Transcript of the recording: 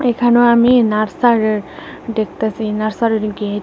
এখানে আমি নার্সার দেখতাছি নার্সারেরি গেট ।